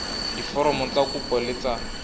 diforomo tsa kopo le tsa